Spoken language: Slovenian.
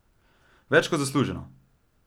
Več kot zasluženo!